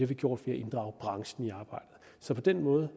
vi gjort ved at inddrage branchen i arbejdet så på den måde